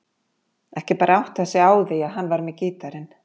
Ekki bara áttað sig á því að hann var með gítarinn.